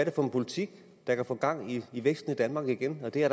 er for en politik der kan få gang i væksten i danmark igen og det er